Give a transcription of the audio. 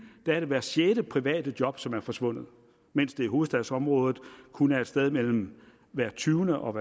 er det hvert sjette private job som er forsvundet mens det i hovedstadsområdet kun er et sted mellem hvert tyvende og